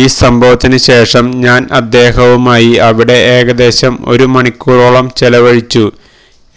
ഈ സംഭവത്തിനു ശേഷം ഞാനദ്ദേഹവുമായി അവിടെ ഏകദേശം ഒരു മണിക്കൂറോളം ചെലവഴിച്ചു